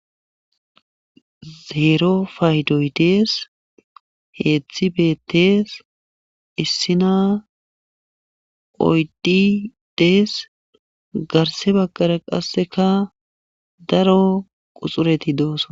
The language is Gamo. Zeero paydoy dees heedzdzi bettees issina oydi dees garse bagqara qasseka daro quxureti doosona.